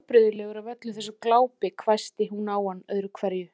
Þú verður afbrigðilegur af öllu þessu glápi hvæsti hún á hann öðru hverju.